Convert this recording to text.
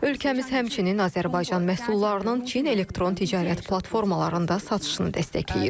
Ölkəmiz həmçinin Azərbaycan məhsullarının Çin elektron ticarət platformalarında satışını dəstəkləyir.